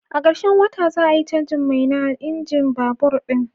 A karshen wata, za a yi canjin mai na injin babur ɗin.